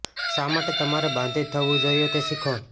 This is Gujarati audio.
શા માટે તમારે બાંધીત થવું જોઈએ તે શીખો